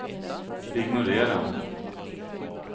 ignorera